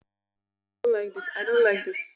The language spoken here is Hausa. A wasu ɗakin kwanan, tabarma ake shinfida.